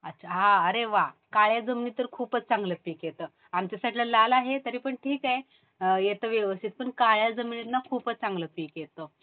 अच्छा. अरे वाह. काळ्या जमिनीत तर खूपच चांगलं पीक येतं. आमच्या साईडला लाल आहे तरीपण ठीक आहे. येतं व्यवस्थित. पण काळया जमिनीत ना खूपच चांगलं पीक येतं